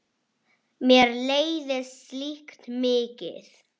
Mér leiðist slíkt mikið.